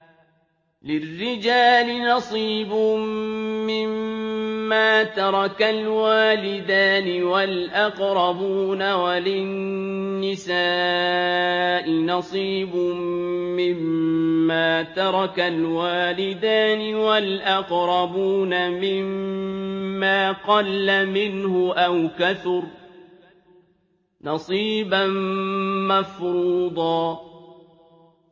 لِّلرِّجَالِ نَصِيبٌ مِّمَّا تَرَكَ الْوَالِدَانِ وَالْأَقْرَبُونَ وَلِلنِّسَاءِ نَصِيبٌ مِّمَّا تَرَكَ الْوَالِدَانِ وَالْأَقْرَبُونَ مِمَّا قَلَّ مِنْهُ أَوْ كَثُرَ ۚ نَصِيبًا مَّفْرُوضًا